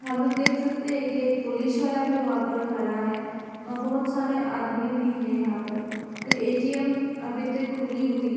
हम लोग देख सकते है कि एक पुलिस वाला भी वहां पर खड़ा है और बहुत सारे आदमी भी हैं यहां पर और ए_टी_एम अभी तक खुली हुई --